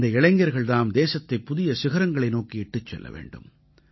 இந்த இளைஞர்கள் தாம் தேசத்தைப் புதிய சிகரங்களை நோக்கி இட்டுச் செல்ல வேண்டும்